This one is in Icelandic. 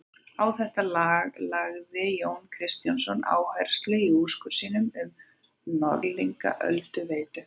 Á þetta lagði Jón Kristjánsson áherslu í úrskurði sínum um Norðlingaölduveitu.